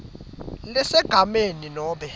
lesegameni lakhe nobe